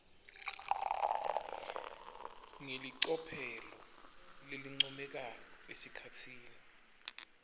ngelicophelo lelincomekako esikhatsini